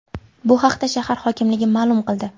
Bu haqda shahar hokimligi ma’lum qildi .